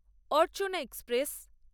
Archana express